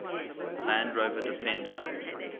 land rover defender